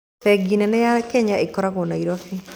Bengi nene ya Kenya ĩkoragwo Nairobi